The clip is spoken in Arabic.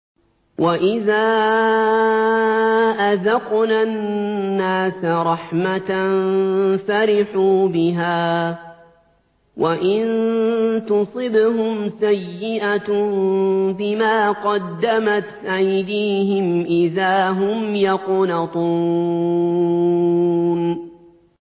وَإِذَا أَذَقْنَا النَّاسَ رَحْمَةً فَرِحُوا بِهَا ۖ وَإِن تُصِبْهُمْ سَيِّئَةٌ بِمَا قَدَّمَتْ أَيْدِيهِمْ إِذَا هُمْ يَقْنَطُونَ